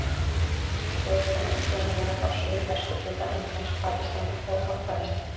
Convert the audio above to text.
Þeir koma upprunalega frá suðvesturhluta Indlands, Pakistan og Afganistan.